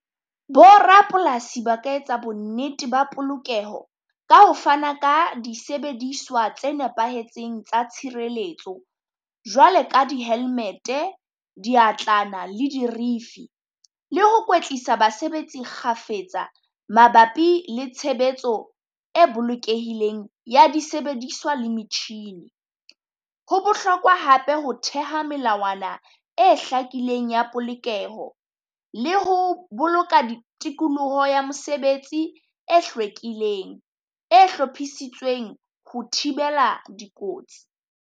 Bo rapolasi ba ka etsa bonnete ba polokeho ka ho fana ka disebediswa tse nepahetseng tsa tshireletso. Jwale ka di helmet-e, diatlana le dirifi, le ho kwetlisa basebetsi kgafetsa mabapi le tshebetso e bolokehileng ya disebediswa le metjhini. Ho bohlokwa hape ho theha melawana e hlakileng ya polokeho, le ho boloka tikoloho ya mosebetsi e hlwekileng, e hlophisitsweng ho thibela dikotsi.